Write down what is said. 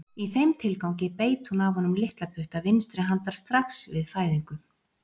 Í þeim tilgangi beit hún af honum litla putta vinstri handar strax við fæðingu.